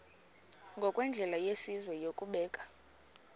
ngokwendlela yesizwe yokubeka